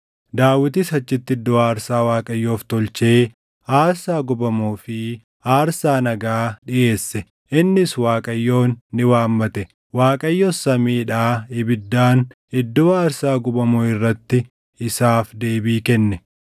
Daawitis achitti iddoo aarsaa Waaqayyoof tolchee aarsaa gubamuu fi aarsaa nagaa dhiʼeesse. Innis Waaqayyoon ni waammate; Waaqayyos samiidhaa ibiddaan iddoo aarsaa gubamuu irratti isaaf deebii kenne.